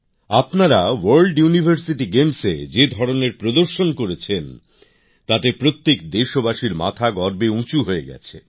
আপনারা আন্তর্জাতিক বিশ্ববিদ্যালয় ক্রীড়া প্রতিযোগিতায় যে নৈপুণ্য প্রদর্শন করেছেন তাতে প্রত্যেক দেশবাসীর মাথা গর্বে উঁচু হয়ে গেছে